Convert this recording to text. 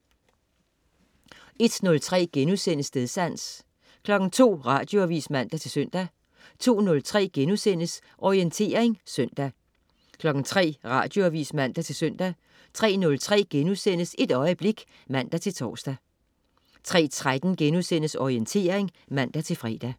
01.03 Stedsans* 02.00 Radioavis (man-søn) 02.03 Orientering søndag* 03.00 Radioavis (man-søn) 03.03 Et øjeblik* (man-tors) 03.13 Orientering* (man-fre)